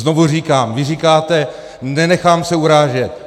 Znovu říkám - vy říkáte: nenechám se urážet.